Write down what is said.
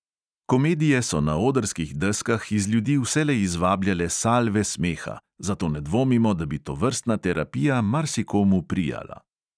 Komedije so na odrskih deskah iz ljudi vselej izvabljale salve smeha, zato ne dvomimo, da bi tovrstna terapija marsikomu prijala.